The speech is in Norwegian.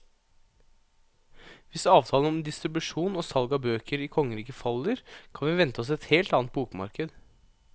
Hvis avtalen om distribusjon og salg av bøker i kongeriket faller, kan vi vente oss et helt annet bokmarked.